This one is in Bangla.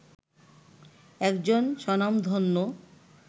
একজন স্বনামধন্য